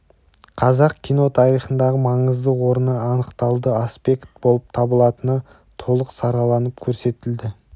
қазақ кино тарихындағы маңызды орны анықталды аспект болып табылатыны толық сараланып көрсетілді